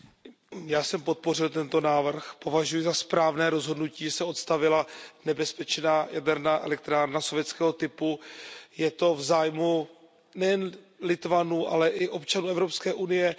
Paní předsedající, já jsem podpořil tento návrh, považuji za správné rozhodnutí, že se odstavila nebezpečná jaderná elektrárna sovětského typu, je to v zájmu nejen Litevců, ale i občanů Evropské unie.